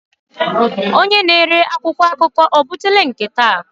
Onye na-ere akwụkwọ akụkọ ebutela nke taa?